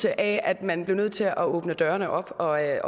at man blev nødt til at åbne dørene op og at